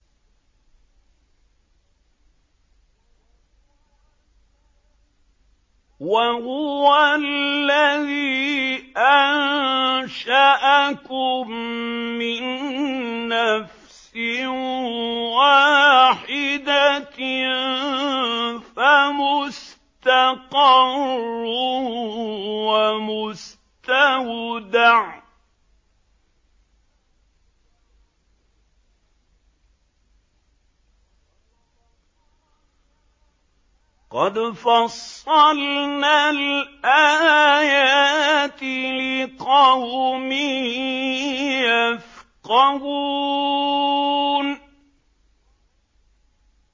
وَهُوَ الَّذِي أَنشَأَكُم مِّن نَّفْسٍ وَاحِدَةٍ فَمُسْتَقَرٌّ وَمُسْتَوْدَعٌ ۗ قَدْ فَصَّلْنَا الْآيَاتِ لِقَوْمٍ يَفْقَهُونَ